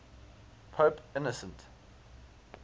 pope innocent